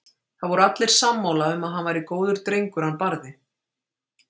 Það voru allir sammála um að hann væri góður drengur hann Barði.